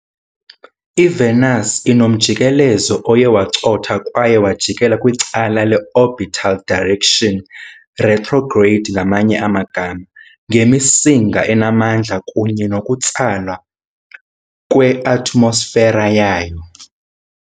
IVenus inomjikelezo oye wacotha kwaye wajikela kwicala le-orbital direction, retrograde, ngemisinga enamandla kunye nokutsalwa kweatmosfera yayo.